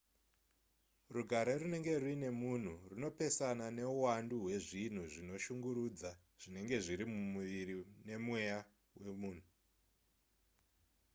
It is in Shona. rugare runenge ruine munhu runopesana neuwandu hwezvinhu zvinoshungurudza zvinenge zviri mumuviri nemweya wemunhu